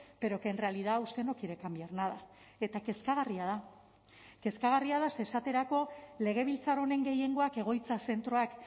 pero que en realidad usted no quiere cambiar nada eta kezkagarria da kezkagarria da ze esaterako legebiltzar honen gehiengoak egoitza zentroak